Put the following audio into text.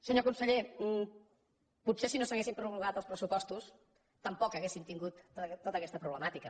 senyor conseller potser si no s’haguessin prorrogat els pressupostos tampoc hauríem tingut tota aquesta problemàtica